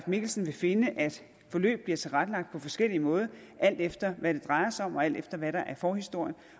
mikkelsen vil finde at forløb bliver tilrettelagt på forskellig måde alt efter hvad det drejer sig om og alt efter hvad der er forhistorien